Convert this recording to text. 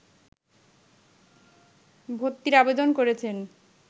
ভর্তির আবেদন করেছেন